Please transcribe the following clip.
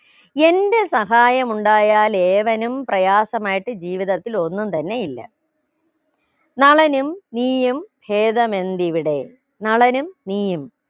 എന്റെ സഹായമുണ്ടായാലേവനും പ്രയാസമായിട്ട് ജീവിതത്തിൽ ഒന്നും തന്നെ ഇല്ല നളനും നീയും ഭേതമെന്തിവിടെ നളനും നീയും